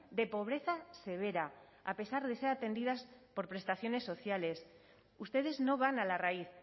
de pobreza severa a pesar de ser atendidas por prestaciones sociales ustedes no van a la raíz